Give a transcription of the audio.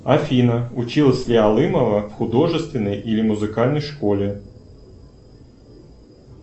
афина училась ли алымова в художественной или музыкальной школе